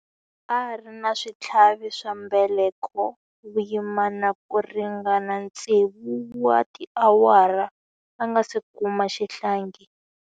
A ri na switlhavi swa mbeleko vuyimani ku ringana tsevu wa tiawara a nga si kuma xihlangi.